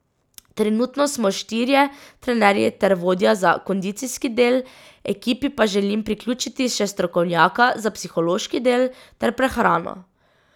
Trenutno smo štirje trenerji ter vodja za kondicijski del, ekipi pa želim priključiti še strokovnjaka za psihološki del ter prehrano.